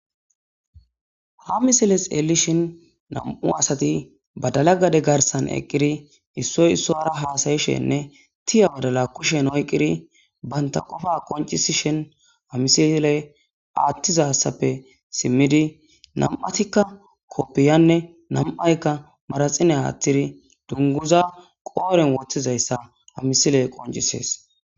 Ha misile xeelishin nam'u asati badala gade garsan eqqiri issoy issora haasayishenne tiya wadala kushen oyqiri banta qofa qoncisishen amisiley aattizassappe simmidi nam'atikka koppiyanne nam'aykka maraxine aathtiri dunguza qooren woththizayssa amisile qoncisees.